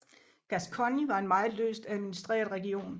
Gascogne var en meget løst administreret region